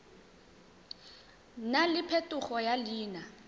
nna le phetogo ya leina